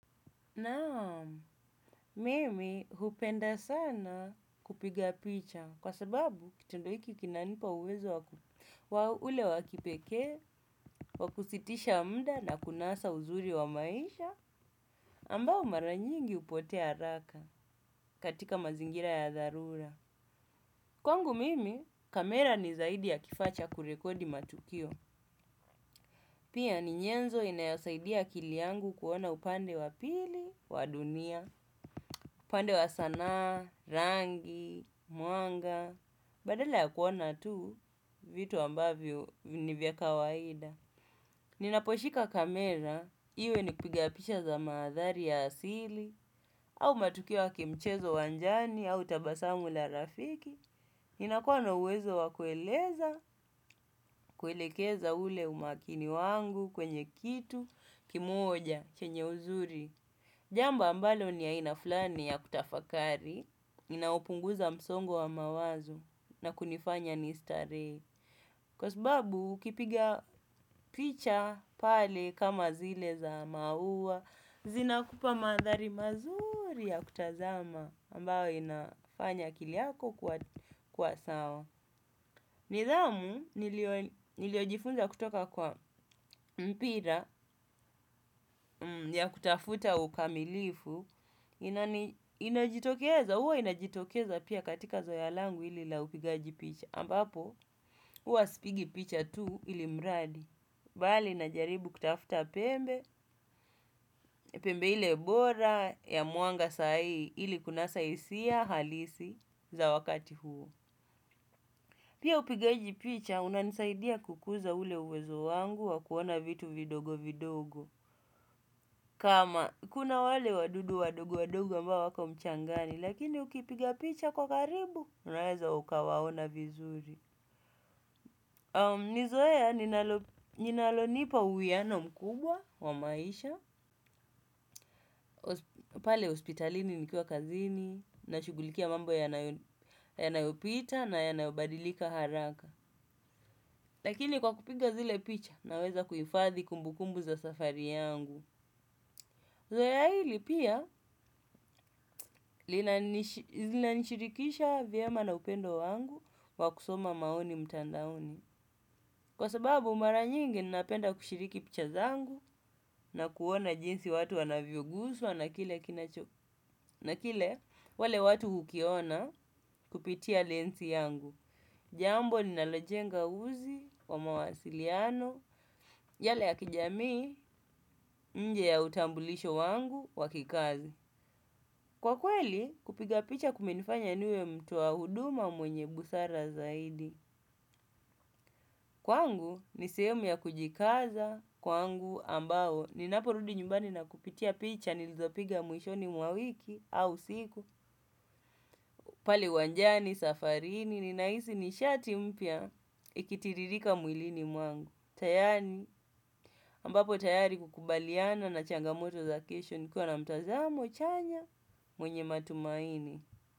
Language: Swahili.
Naam, mimi hupenda sana kupiga picha kwa sababu kitendo hiki kinanipa uwezo wa ule wakipekee, wakusitisha mda na kunasa uzuri wa maisha ambao maranyingi hupotea haraka katika mazingira ya dharura. Kwangu mimi, kamera ni zaidi ya kifaa cha kurekodi matukio. Pia ni nyenzo inayosaidia akili yangu kuona upande wa pili wa dunia. Pande wa sanaa, rangi, mwanga badala ya kuona tu vitu ambavyo nivya kawaida. Ninaposhika kamera, iwe ni kupiga picha za maathari ya asili au matukio ya kimchezo uwanjani, au tabasamu na rafiki. Ninakuwa na uwezo wa kueleza, kuelekeza ule umaakini wangu kwenye kitu kimoja, chenye uzuri. Jambo ambalo ni aina flani ya kutafakari inaupunguza msongo wa mawazo na kunifanya nistaree. Kwa sbabu ukipiga picha pale kama zile za maua zinakupa mandhari mazuri ya kutazama ambayo inafanya akili yako kuwa kuwa sawa. Nidhamu, niliyo niliyojifunza kutoka kwa mpira ya kutafuta ukamilifu, inajitokeza, huwa inajitokeza pia katika zoeya langu ili la upigaji picha ambapo uwa sipigi picha tu ili mradi bali inajaribu kutafuta pembe, pembe ile bora ya mwanga saai ili kunasa hisia halisi za wakati huo pia upigaji picha unanisaidia kukuza ule uwezo wangu wakuona vitu vidogo vidogo kama kuna wale wadudu wadogo wadogo ambao wako mchangani lakini ukipiga picha kwa karibu unaweza ukawaona vizuri. Nizoeya ninalonipa uwiyano mkubwa wa maisha, pale hospitalini nikiwa kazini, nashugulikia mambo yanayopita na yanayobadilika haraka. Lakini kwa kupiga zile picha naweza kuhifadhi kumbukumbu za safari yangu zoeya hili pia linani shirikisha vyema na upendo wangu wa kusoma maoni mtandaoni kwa sababu mara nyingi napenda kushiriki picha zangu na kuona jinsi watu wanavyoguswa na kile kinacho na kile wale watu hukiona kupitia lens yangu. Jambo ninalojenga uzi wa mawasiliano, yale ya kijamii, nje ya utambulisho wangu, wakikazi. Kwa kweli, kupiga picha kumenifanya niwe mtu wa huduma mwenye busara zaidi. Kwangu ni sehemu ya kujikaza kwangu ambao ninaporudi nyumbani na kupitia picha nilizopiga mwishoni mwa wiki au siku pale uwanjani, safarini ninahisi nishati mpya ikitiririka mwilini mwangu. Tayani ambapo tayari kukubaliana na changamoto za kesho nikiwa mtazamo chanya mwenye matumaini.